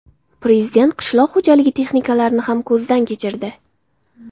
Prezident qishloq xo‘jaligi texnikalarini ham ko‘zdan kechirdi.